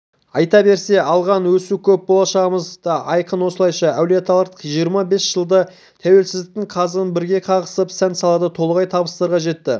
айта берсе алған асу көп болашағымыз да айқын осылайша әулиеталықтар жиырма бес жылда тәуелсіздіктің қазығын бірге қағысып сан-салада толағай табыстарға жетті